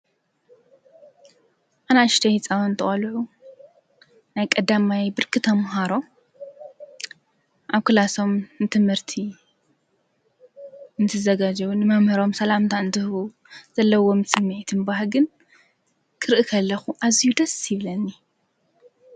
ኣናሽተይ ህፃዊቲ ቆልዑ ናይ ቀዳማይ ብርኪ ታምሃሮ ኣብ ኲላሶም ንትምህርቲ እንት ዘገዙዉን መምህሮም ሰላምታ እንትህሁ ዘለዎም ፂምየትምባህ ግን ክርእኽ ኣለኹ ኣዚዩ ደስ ይብለኒ።